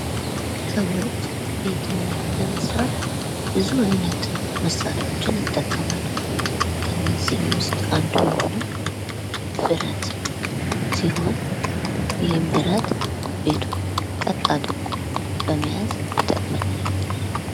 ሰዎች ቤትን ለመስራት ብዙ አይነት መሳሪያዎችን ይጠቀማሉ ከነዚህም ዉስጥ አንዱ የሆነው ብረት ሲሆን ይሀም ብረት ቤትን ቀጥ አድርጎ ለመያዝ ይጠቅማል።